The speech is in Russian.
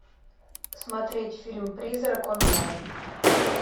смотреть фильм призрак онлайн